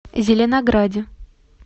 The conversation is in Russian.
зеленограде